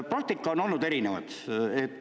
Praktikat on olnud erinevat.